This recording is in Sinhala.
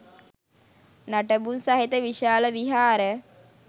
නටබුන් සහිත විශාල විහාර